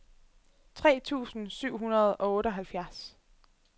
tre tusind syv hundrede og otteoghalvfjerds